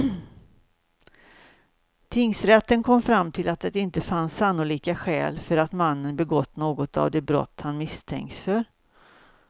Tingsrätten kom fram till att det inte fanns sannolika skäl för att mannen begått något av de brott han misstänkts för.